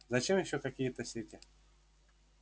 зачем ещё какие-то сети